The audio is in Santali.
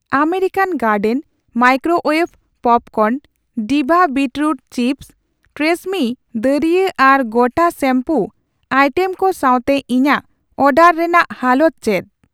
ᱟᱢᱮᱨᱤᱠᱟᱱ ᱜᱟᱨᱰᱮᱱ ᱢᱟᱭᱠᱨᱳᱣᱭᱮᱵᱷ ᱯᱚᱯᱠᱚᱨᱱ, ᱰᱤᱵᱷᱟ ᱵᱤᱴᱨᱩᱴ ᱪᱤᱯᱷᱥ, ᱴᱨᱤᱥᱮᱢᱢᱤ ᱫᱟᱨᱭᱟᱹ ᱟᱨ ᱜᱚᱴᱟ ᱥᱮᱢᱯᱩ ᱟᱭᱴᱮᱢ ᱠᱚ ᱥᱟᱣᱛᱮ ᱤᱧᱟᱜ ᱚᱰᱟᱨ ᱨᱮᱱᱟᱜ ᱦᱟᱞᱚᱛ ᱪᱮᱫ ᱾